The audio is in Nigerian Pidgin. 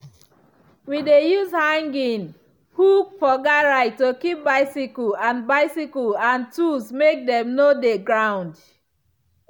we dey use hanging hook for garage to keep bicycle and bicycle and tools make dem no dey ground.